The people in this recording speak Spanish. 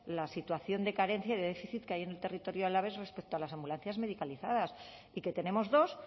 la situación de carencia y de déficit que hay en el territorio alavés respecto a las ambulancias medicalizadas y que tenemos dos